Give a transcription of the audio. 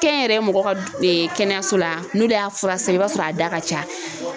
Kɛnyɛrɛye mɔgɔ ka kɛnɛyaso la n'olu y'a fura san i b'a sɔrɔ a da ka ca